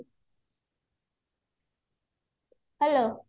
hello